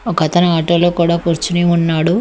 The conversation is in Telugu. ఒకతను ఆటోలో కూడా కూర్చుని ఉన్నాడు.